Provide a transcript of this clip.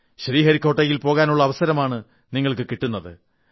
ശ്രീഹരിക്കോട്ടയിൽ പോകാനുള്ള അവസരമാണ് നിങ്ങൾക്ക് കിട്ടുന്നത്